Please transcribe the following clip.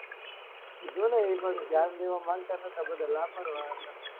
બધા ધ્યાન દેવા માનતા ન હતા બધા